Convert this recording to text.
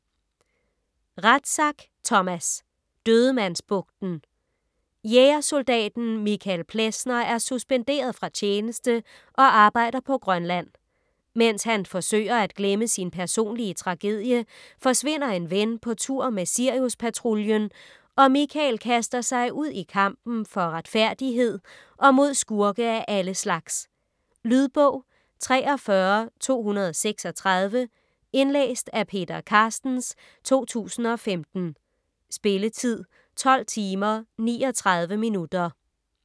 Rathsack, Thomas: Dødemandsbugten Jægersoldaten Michael Plessner er suspenderet fra tjeneste og arbejder på Grønland. Mens han forsøger at glemme sin personlige tragedie, forsvinder en ven på tur med Siriuspatruljen og Michael kaster sig ud i kampen for retfærdighed og mod skurke af alle slags. Lydbog 43236 Indlæst af Peter Carstens, 2015. Spilletid: 12 timer, 39 minutter.